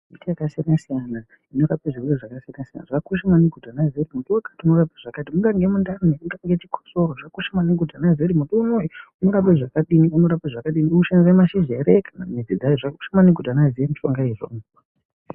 Miti yakasiyana-siyana inorape zvirwere zvakasiyana-siyana. Zvakakosha maningi kuti anhu aziye kuti muti wakati unorape zvakati. Mungange mundani mungange chikosoro zvakakosha maningi kuti anhu aziye kuti muti unoyununorape zvakadini unorape zvakadini unoshanisa mashizha ere. Zvakakosha maningi kuti anhu aziye miti iyi.